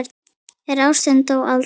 En ástin dó aldrei.